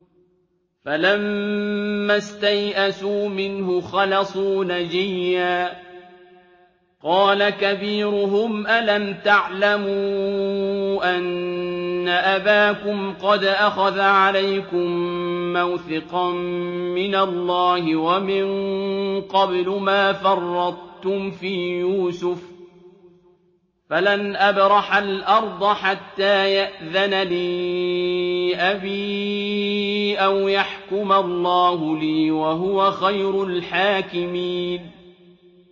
فَلَمَّا اسْتَيْأَسُوا مِنْهُ خَلَصُوا نَجِيًّا ۖ قَالَ كَبِيرُهُمْ أَلَمْ تَعْلَمُوا أَنَّ أَبَاكُمْ قَدْ أَخَذَ عَلَيْكُم مَّوْثِقًا مِّنَ اللَّهِ وَمِن قَبْلُ مَا فَرَّطتُمْ فِي يُوسُفَ ۖ فَلَنْ أَبْرَحَ الْأَرْضَ حَتَّىٰ يَأْذَنَ لِي أَبِي أَوْ يَحْكُمَ اللَّهُ لِي ۖ وَهُوَ خَيْرُ الْحَاكِمِينَ